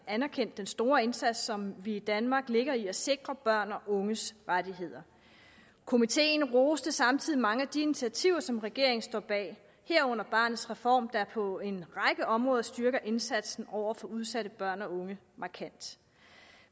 anerkendte den store indsats som vi i danmark lægger i at sikre børns og unges rettigheder komiteen roste samtidig mange af de initiativer som regeringen står bag herunder barnets reform der på en række områder styrker indsatsen over for udsatte børn og unge markant